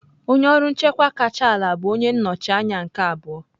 Onye ọrụ nchịkwa kacha ala bụ onye nnọchi anya nke abụọ.